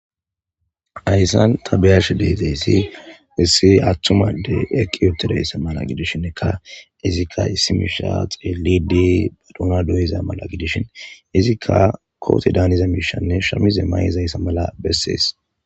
Hassan taa be'ashshe deiizayssi issi attuma addey eqqi uttidayssa malla gidishinika izzika issi mishsha xellidi doona dooyiza malla giddishin izzika kooxxe daaniza mishshanne shaamize mayizayssa malla besses.